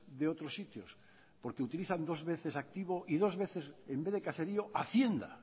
de otros sitios porque utilizan dos veces activo y dos veces en vez de caserío hacienda